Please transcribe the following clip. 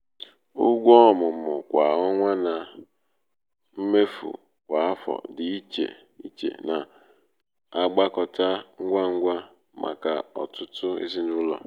ụgwọ ọmụmụ kwa ọnwa na um na um mmefu kwa afọ dị iche iche na-agbakọta ngwa ngwa um maka ọtụtụ um ezinụlọ.